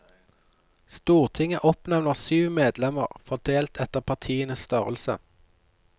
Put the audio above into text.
Stortinget oppnevner syv medlemmer, fordelt etter partienes størrelse.